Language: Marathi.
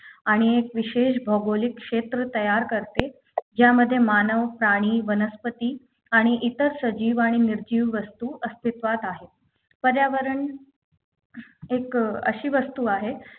आणि एक विशेष भौगोलिक क्षेत्र तयार करते ज्यामध्ये मानव प्राणी वनस्पती आणि इतर सजीव आणि निर्जीव वस्तू अस्तित्वात आहे पर्यावरण एक अं अशी वस्तू आहे